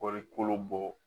Kɔɔri kolo bɔ